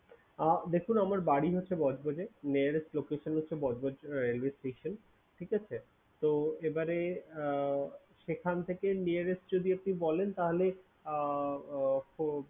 আহ দেখুন আমার বাড়ি হচ্ছে বজবজে nearest location হচ্ছে বজবজ railway station । ঠিক আছে? তো এবারে আহ সেখান থেকে nearest যদি একটু বলেন তাহলে আহ